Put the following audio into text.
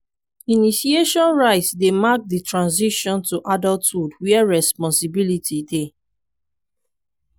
initiation rites dey mark di transition to adulthood where responsibility dey.